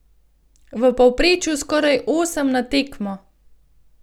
V povprečju skoraj osem na tekmo.